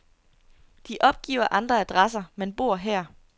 De opgiver andre adresser, men bor her.